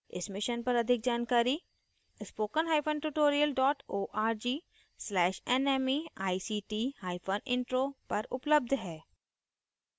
इस मिशन पर अधिक जानकारी